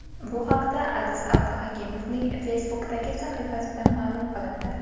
Bu haqda Aziz Abduhakimovning Facebook’dagi sahifasida ma’lum qilindi .